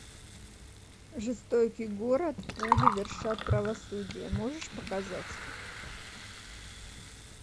жестокий город пули вершат правосудие можешь показать